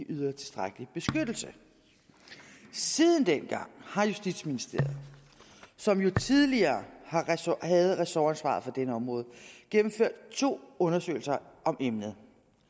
yder tilstrækkelig beskyttelse siden dengang har justitsministeriet som jo tidligere havde ressortansvaret for dette område gennemført to undersøgelser om emnet